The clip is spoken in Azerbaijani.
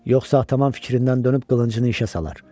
Yoxsa tamam fikrindən dönüb qılıncını işə salar.